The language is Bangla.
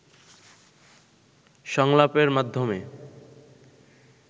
সংলাপের মাধ্যমে